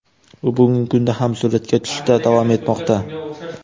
U bugungi kunda ham suratga tushishda davom etmoqda.